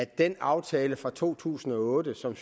den aftale fra to tusind og otte som